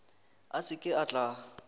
a se ke a tla